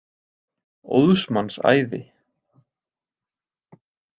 Óðs manns æði.